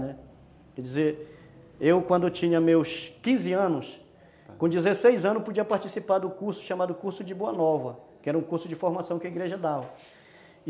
Né, quer dizer, eu quando tinha meus quinze anos, com dezesseis anos, eu podia participar do curso chamado Curso de Boa Nova, que era um curso de formação que a igreja dava e